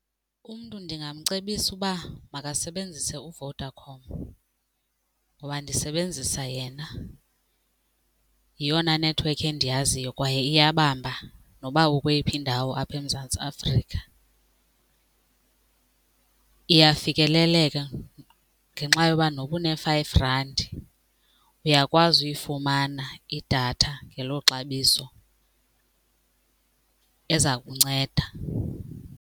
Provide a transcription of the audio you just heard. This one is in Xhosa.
Umntu ndingamcebisa uba makasebenzise uVodacom ngoba ndisebenzisa yena. Yeyona nethiwekhi endiyaziyo kwaye iyabamba noba ukweyiphi indawo apha eMzantsi Afrika, iyafikeleleka ngenxa yoba noba une-five randi uyakwazi uyifumana idatha ngelo xabiso eza kunceda.